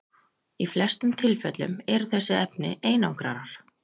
í flestum tilfellum eru þessi efni einangrarar